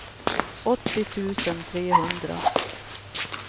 åttio tusen trehundra